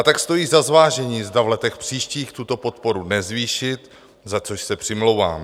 A tak stojí za zvážení, zda v letech příštích tuto podporu nezvýšit, za což se přimlouvám.